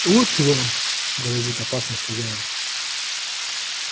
вот вам грозит опасность хозяин